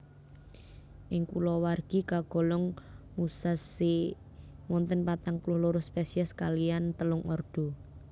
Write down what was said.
Ing kulawargi kagolong musaceae wonten patang puluh loro spesies kaliyan telung ordo